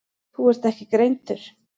Þú ert ekki greindur.